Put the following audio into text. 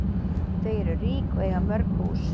Þau eru rík og eiga mörg hús.